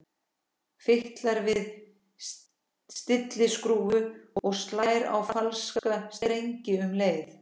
Fitlar við stilliskrúfu og slær á falska strenginn um leið.